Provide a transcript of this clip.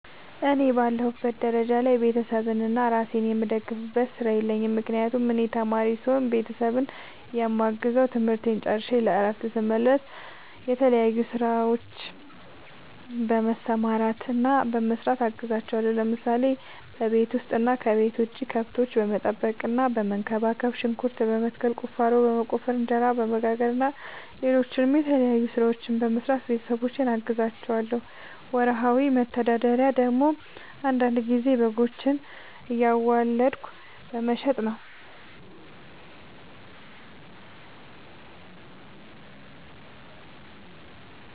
እኔ በአለሁበት ደረጃ ላይ ቤተሰቤንና እራሴን የምደግፍበት ስራ የለኝም። ምክንያቱም እኔ ተማሪ ስሆን ቤተሰቤን የማግዘው ትምህርቴን ጨርሸ ለእረፍት ስመለስ በተለያዩ ስራዎች በመሰማራትና በመስራት አግዛቸዋለሁ። ለምሳሌ፦ በቤት ውስጥ እና ከቤት ውጭ ከብቶች በመጠበቅና በመንከባከብ፣ ሽንኩርት በመትከል፣ ቁፋሮ በመቆፈር፣ እንጀራ በመጋገር እና ሌሎችም የተለያዩ ስራዎችን በመስራት ቤተሰቦቼን አግዛቸዋለሁ። ወርሃዊ መተዳደሪያ ደግሞ አንዳንድ ጊዜ በጎችን እያዋለድኩ በመሸጥ ነው።